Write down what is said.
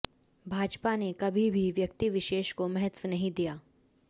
भाजपा ने कभी भी व्यक्ति विशेष को महत्त्व नहीं दिया